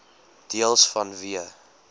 deels vanweë